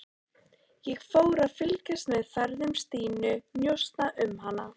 Ég fór að fylgjast með ferðum Stínu, njósna um hana.